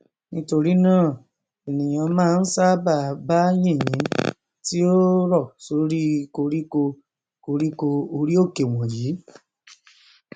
nítorínáà ènìà máa n ṣábàá bá yìnyín tí ó rọ sórí i koríko koríko orí òkè wọnyìi